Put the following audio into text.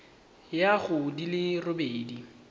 ya go di le robedi